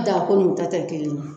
Naako n'u ta tɛ kelen ye.